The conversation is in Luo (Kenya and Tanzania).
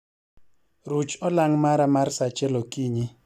ruch olang mara mar saa achiel okiny